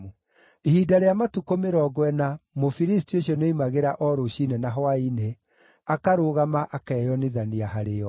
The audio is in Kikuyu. Ihinda rĩa matukũ mĩrongo ĩna Mũfilisti ũcio nĩoimagĩra o rũciinĩ na hwaĩ-inĩ, akarũgama akeyonithania harĩo.